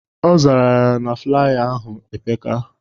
Ọ zara ya na flaya ahụ epeka